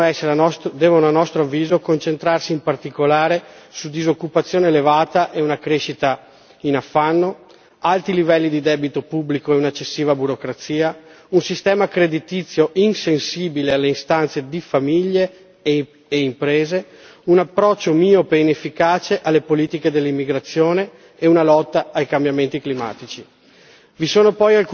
Le singole misure devono a nostro avviso concentrarsi in particolare sui seguenti elementi disoccupazione elevata e una crescita in affanno, alti livelli di debito pubblico e un'eccessiva burocrazia, un sistema creditizio insensibile alle istanze di famiglie e imprese, un approccio miope e inefficace alle politiche dell'immigrazione e lotta ai cambiamenti climatici.